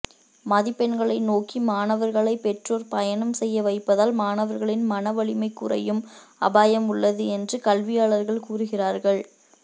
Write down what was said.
மதிப்பெண்களை நோக்கி மாணவர்களை பெற்றோர் பயணம் செய்ய வைப்பதால் மாணவர்களின் மனவலிமை குறையும் அபாயம் உள்ளது என்று கல்வியாளர்கள் கூறுகிறார்கள்